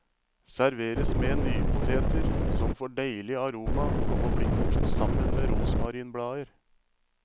Serveres med nypoteter, som får deilig aroma av å bli kokt sammen med rosmarinblader.